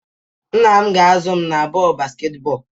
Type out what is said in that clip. Nna m ga-azụ m na bọọlụ basketball